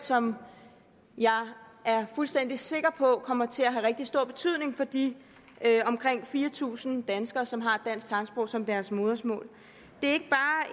som jeg er fuldstændig sikker på kommer til at få en rigtig stor betydning for de omkring fire tusind danskere som har dansk tegnsprog som deres modersmål det